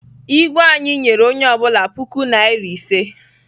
Igwe anyi nyere onye obula puku naira ise.